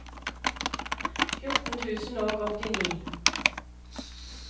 fjorten tusen og åttini